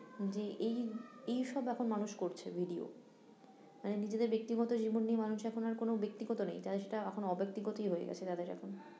যে এই এই সব এখন মানুষ করছে video মানে নিজেদের ব্যাক্তিগত জীবন নিয়ে মানুষ এখন আরো কোনো ব্যাক্তিগত নেই তারা সেটা এখন অব্যাক্তিগতই হয়ে গেছে তাদের এখন